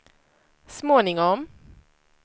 småningom